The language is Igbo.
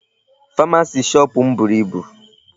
Pharmacy shop m buru ibu.